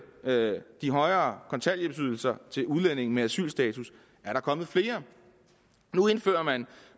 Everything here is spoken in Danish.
de højere kontanthjælpsydelser til udlændinge med asylstatus er der kommet flere nu indfører man